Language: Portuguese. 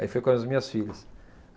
Aí fui com as minhas filhas.